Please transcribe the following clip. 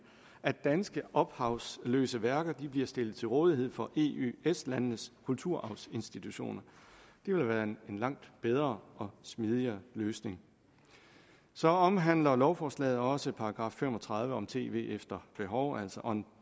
at danske ophavsløse værker bliver stillet til rådighed for eøs landenes kulturarvsinstitutioner det ville være en langt bedre og smidigere løsning så omhandler lovforslaget også § fem og tredive om tv efter behov altså on